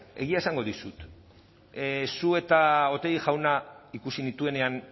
egia esango dizut zu eta otegi jauna ikusi nituenean